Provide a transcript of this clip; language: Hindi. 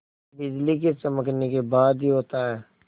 बिजली के चमकने के बाद ही होता है